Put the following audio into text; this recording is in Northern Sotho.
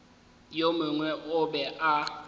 yo mongwe o be a